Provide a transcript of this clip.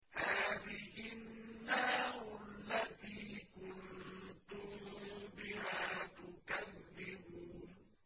هَٰذِهِ النَّارُ الَّتِي كُنتُم بِهَا تُكَذِّبُونَ